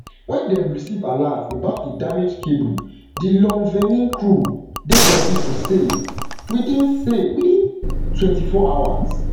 wen dem receive alert about a damaged cable di lon thvenin crew dey ready to sail within sail within twenty-four hours